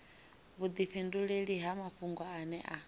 vhudifhinduleli ha mafhungo ane a